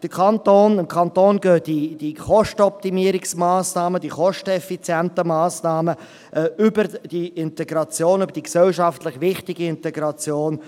Dem Kanton gehen diese Kostenoptimierungsmassnahmen, diese kosteneffizienten Massnahmen, über die Integration, über diese gesellschaftlich wichtige Integration.